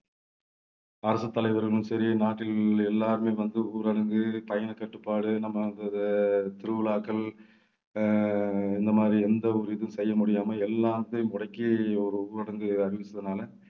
அரசு தலைவர்களும் சரி நாட்டில் உள்ள எல்லாருமே வந்து ஊரடங்கு, பயணக்கட்டுப்பாடு நம்ம திருவிழாக்கள் அஹ் இந்த மாதிரி எந்த ஒரு இதுவும் செய்ய முடியாம எல்லாத்தையும் முடக்கி ஒரு ஊரடங்கு அறிவிச்சதுனால